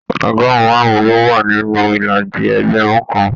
Ọgọrun márùn ló wà nínú ìlàjì ẹgbẹrun kàn.